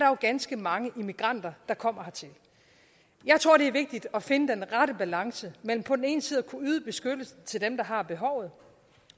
jo ganske mange immigranter der kommer hertil jeg tror det er vigtigt at finde den rette balance mellem på den ene side at kunne yde beskyttelse til dem der har behovet